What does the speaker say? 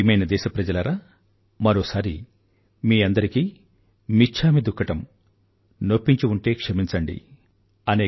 నా ప్రియమైన దేశప్రజలారా మరోసారి మీ అందరికీ మిచ్ఛామి దుక్కడం నొప్పించి ఉంటే క్షమించండి